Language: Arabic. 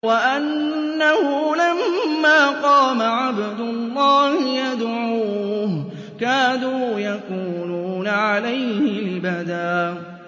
وَأَنَّهُ لَمَّا قَامَ عَبْدُ اللَّهِ يَدْعُوهُ كَادُوا يَكُونُونَ عَلَيْهِ لِبَدًا